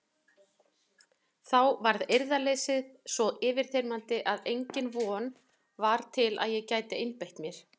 Þá varð eirðarleysið svo yfirþyrmandi að engin von var til að ég gæti einbeitt mér.